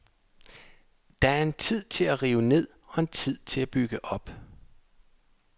Der er en tid til at rive ned og en tid til at bygge op.